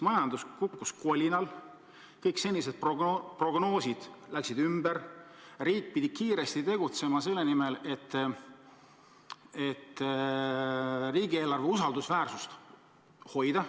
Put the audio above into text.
Majandus kukkus kolinal, kõik senised prognoosid läksid uppi, riik pidi kiiresti tegutsema selle nimel, et riigieelarve usaldusväärsust hoida.